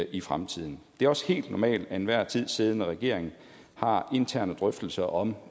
i fremtiden det er også helt normalt at enhver tid siddende regering har interne drøftelser om